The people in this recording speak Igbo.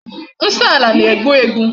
Nsọ ala na-egbu egbu.